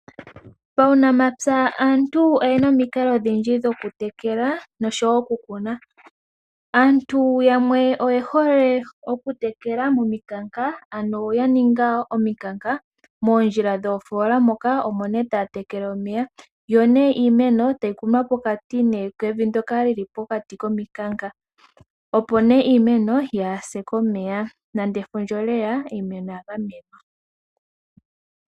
Paunamapya aantu oyena omikalo odhindji dhokutekela noshowo okukuna. Aantu yamwe oye hole okutekela mominkaka ano ya ninga ominkanka moondjila dhoofola moka omo ne taatekele omeya yo nee iimeno tayi kunwa pokati kevi ndoka lili pokati kominkaka opo iimeno yaase komeya, nande efundja oleya oimeno oya gamwena.